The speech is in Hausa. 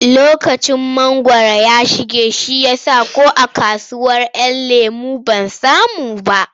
Lokacin mangwaro ya shige shi ya sa ko a kasuwar ‘Yan lemo ban samu ba.